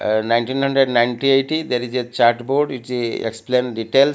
ah nineteen hundred ninety eighty there is a chart board explain detail.